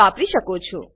વાપરી શકો છો